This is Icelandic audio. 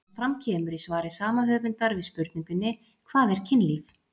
Eins og fram kemur í svari sama höfundar við spurningunni Hvað er kynlíf?